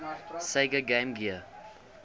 sega game gear